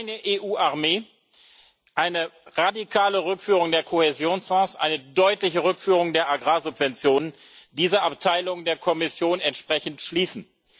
Keine EU Armee, eine radikale Rückführung der Kohäsionsfonds, eine deutliche Rückführung der Agrarsubventionen, diese Abteilungen der Kommission entsprechend schließen.